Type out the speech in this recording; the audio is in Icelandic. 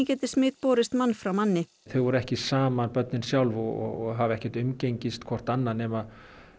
geti smit borist mann frá manni þau voru ekki saman börnin sjálf og hafa ekki umgengist hvort annað nema